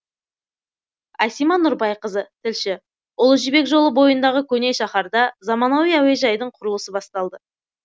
асима нұрбайқызы тілші ұлы жібек жолы бойындағы көне шаһарда заманауи әуежайдың құрылысы басталды